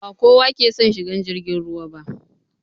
Ba kowa ke son shigan jirgin ruwa ba